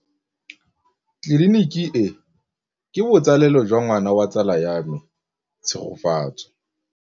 Tleliniki e, ke botsalêlô jwa ngwana wa tsala ya me Tshegofatso.